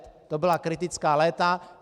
To byla kritická léta.